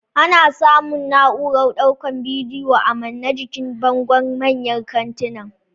Ana samun na'urar daukan bidiyo a mane jikin bango manyan kantinan